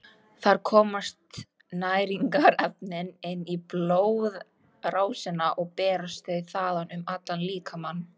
Þar komast næringarefnin inn í blóðrásina og berast þau þaðan um allan líkamann.